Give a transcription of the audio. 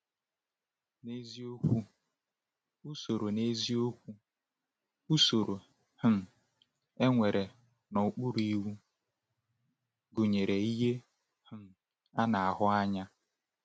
N’eziokwu, usoro N’eziokwu, usoro um ekpere n’okpuru Iwu gụnyere ihe um a na-ahụ anya.